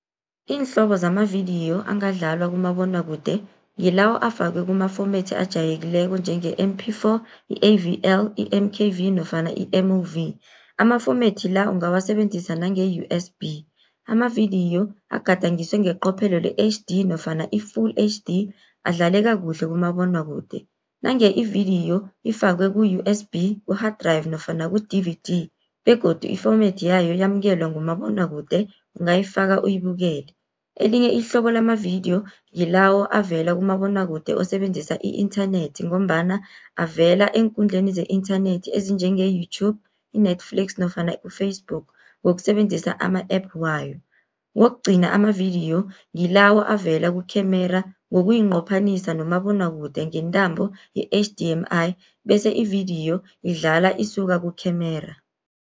Iinhlobo zamavidiyo angadlalwa kumabonwakude, ngilawo afakwe kuma format ajayelekileko njenge-M_P_Four, i-A_V_L, i-M_K_V nofana i-M_O_V. Ama format la ungawasebenzisa nange U_S_B, amavidiyo agadangiswe ngeqophelo le-H_D nofana i-full H_D adlaleka kuhle kumabonwakude. Nange ividiyo ifakwe ku-U_S_B, ku-hard drive nofana ku-D_V_D begodu i-format yayo yamukelwa ngumabonwakude ungayifaka uyibukele. Elinye ihlobo lamavidiyo ngilawo avela kumabonwakude osebenzisa i-inthanethi, ngombana avela eenkundleni ze-inthanethi ezinjenge YouTube, i-Netflix nofana ku-Facebook ngokusebenzisa ama-app wayo. Kokugcina amavidiyo ngilawo avela kukhemera ngokuyinqophanisa nomabonwakude ngentambo ye-H_D_M_I, bese ividiyo idlala isuka kukhemera.